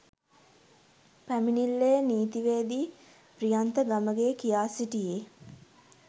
පැමිණිල්ලේ නීතිවේදී ප්‍රියන්ත ගමගේ කියා සිටියේ